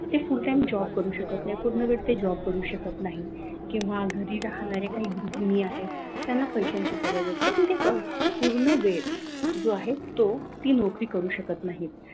ते full time job करू शकत नाही पूर्ण वेळ ते job करू शकत नाही किंवा घरी राहणारे काही गृहिणी आहेत त्यांना पैशांची गरज असते पण ते पूर्ण वेळ जो आहे तो ती नोकरी करू शकत नाही